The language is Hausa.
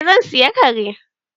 Eh zan sayi kare.